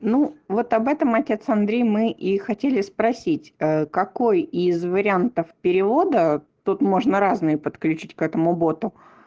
ну вот об этом отец андрей мы и хотели спросить какой из вариантов перевода тут можно разные подключить к этому боту